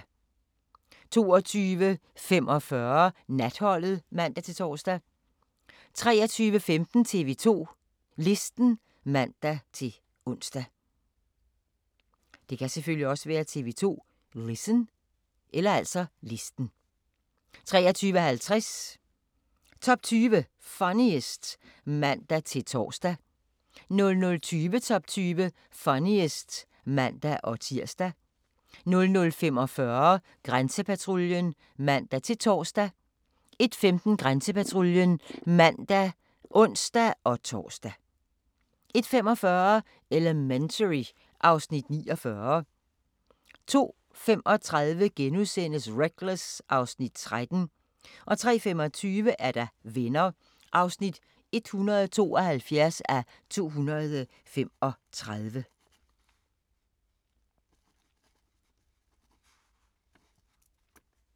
22:45: Natholdet (man-tor) 23:15: TV 2 Listen (man-ons) 23:50: Top 20 Funniest (man-tor) 00:20: Top 20 Funniest (man-tir) 00:45: Grænsepatruljen (man-tor) 01:15: Grænsepatruljen (man og ons-tor) 01:45: Elementary (Afs. 49) 02:35: Reckless (Afs. 13)* 03:25: Venner (172:235)